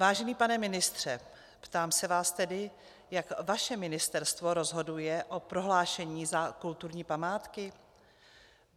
Vážený pane ministře, ptám se vás tedy, jak vaše ministerstvo rozhoduje o prohlášení za kulturní památku.